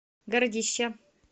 городище